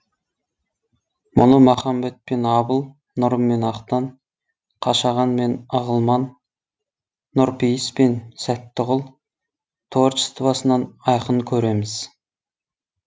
мұны махамбет пен абыл нұрым мен ақтан қашаған мен ығылман нұрпейіс пен сәттіғұл творчествосынан айқын көреміз